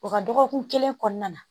O ka dɔgɔkun kelen kɔnɔna na